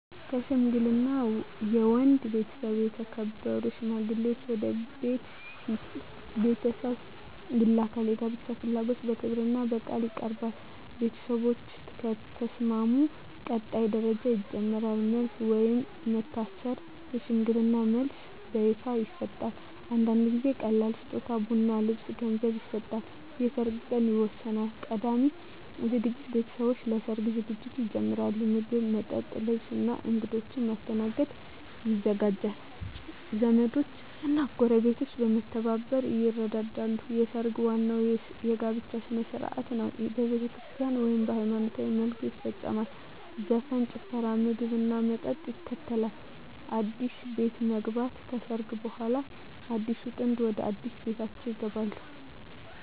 ሽምግልና የወንድ ቤተሰብ የተከበሩ ሽማግሌዎችን ወደ የሴት ቤተሰብ ይልካል። የጋብቻ ፍላጎት በክብርና በቃል ይቀርባል። ቤተሰቦች ከተስማሙ ቀጣይ ደረጃ ይጀምራል። መልስ (ወይም መታሰር) የሽምግልና መልስ በይፋ ይሰጣል። አንዳንድ ጊዜ ቀላል ስጦታ (ቡና፣ ልብስ፣ ገንዘብ) ይሰጣል። የሰርግ ቀን ይወሰናል። ቀዳሚ ዝግጅት ቤተሰቦች ለሰርግ ዝግጅት ይጀምራሉ። ምግብ፣ መጠጥ፣ ልብስ እና እንግዶች ማስተናገድ ይዘጋጃል። ዘመዶች እና ጎረቤቶች በመተባበር ይረዳሉ። ሰርግ ዋናው የጋብቻ ሥነ ሥርዓት ነው። በቤተክርስቲያን (ወይም በሃይማኖታዊ መልኩ) ይፈጸማል። ዘፈን፣ ጭፈራ፣ ምግብና መጠጥ ይከተላል። አዲስ ቤት መግባት (ከሰርግ በኋላ) አዲሱ ጥንድ ወደ አዲስ ቤታቸው ይገባሉ።